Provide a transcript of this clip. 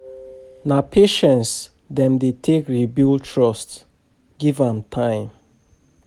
Na patience dem dey take re-build trust, give am time.